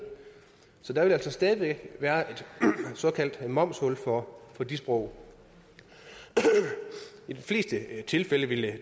så der vil altså stadig væk være et såkaldt momshul for de sprog i de fleste tilfælde ville det